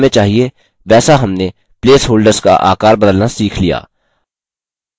जैसा हमें चाहिए वैसा हमने प्लेसहोल्डर्स का आकार बदलना सीख लिया